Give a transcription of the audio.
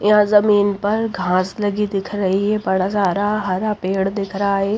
यहां जमीन पर घास लगी दिख रही है बड़ा सारा हरा पेड़ दिख रहा है।